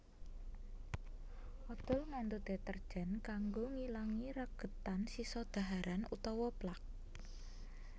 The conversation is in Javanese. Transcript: Odhol ngandhut deterjen kanggo ngilangi regedan sisa dhaharan utawa plak